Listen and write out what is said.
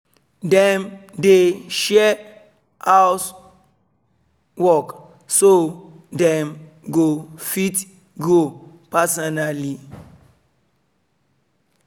dem dey share dey share house work so dem go fit grow personally